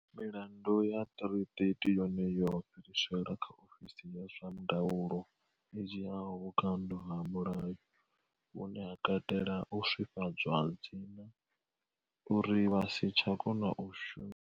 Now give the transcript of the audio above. Milandu ya 330 yone yo fhiriselwa kha ofisi ya zwa ndaulo i dzhiaho vhukando ha mulayo, vhune ha katela u swifhadzwa dzina uri vha si tsha kona u shu.